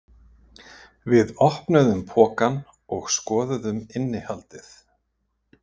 Við opnuðum pokann og skoðuðum innihaldið.